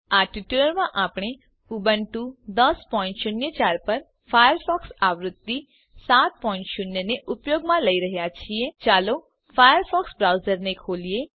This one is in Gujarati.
આ ટ્યુટોરીયલમાં આપણે ઉબુન્ટુ 1004 પર ફાયરફોક્સ આવૃત્તિ 70 ને ઉપયોગમાં લઇ રહ્યા છીએ ચાલો ફાયરફોક્સ બ્રાઉઝર ખોલીએ